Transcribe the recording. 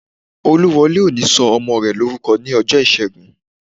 Olúwọlé ò ní sọ ọmọ rẹ̀ lórúkọ ní ọjọ́ ìṣẹ́gun